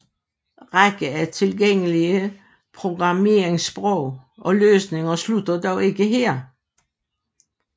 Række af tilgængelige programmeringssprog og løsninger slutter dog ikke her